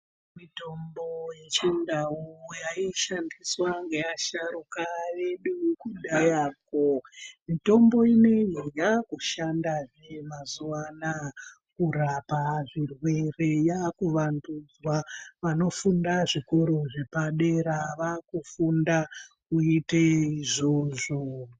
Mitombo yechindau yaishandiswa ngeasharuka edu kudhayakwo, mitombo ineyi yakushandazve mazuwa anaya kurapa zvirwere. Yakuvandudzwa vanofunda zvikoro zvepadera vakufunda kuite izvozvo.